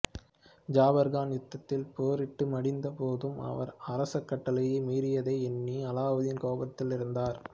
ஜாபர்கான் யுத்தத்தில் போரிட்டு மடிந்த போதும் அவர் அரச கட்டளையை மீறியதை எண்ணி அலாவுதீன் கோபத்தில் இருந்தார்